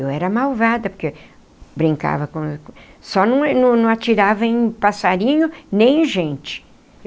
Eu era malvada porque brincava com... só não não não atirava em passarinho nem em gente.